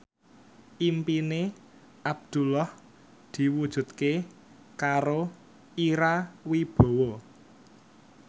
impine Abdullah diwujudke karo Ira Wibowo